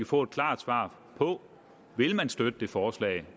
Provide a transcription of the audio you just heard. få et klart svar på vil man støtte det forslag